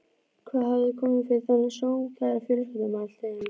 Hvað hafði komið fyrir þennan sómakæra fjölskyldumann allt í einu?